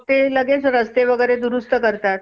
ते रस्ते वगैरे दुरुस्त करतात.